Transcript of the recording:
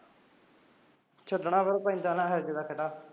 ਛੱਡਣਾ ਪੈਂਦਾ ਐ ਫਿਰ ਇਹੋ ਜਿਹਾ ਦਾ ਖਹਿੜਾ